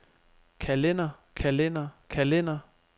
kalender kalender kalender